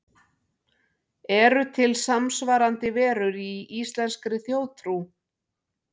Eru til samsvarandi verur í íslenskri þjóðtrú?